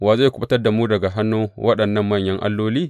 Wa zai kuɓutar da mu daga hannun waɗannan manyan alloli?